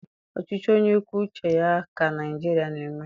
Ọchịchị onye kwuo uche ya ka Naịjiria na-eme.